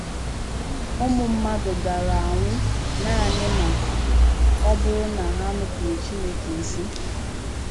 Ụmụ mmadụ gaara anwụ nanị ma ọ bụrụ na ha nupụụrụ Chineke ísì